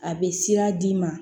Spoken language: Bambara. A bɛ sira d'i ma